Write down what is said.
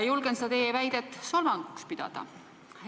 Julgen seda teie väidet solvanguks pidada.